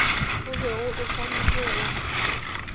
o bego o swanetše go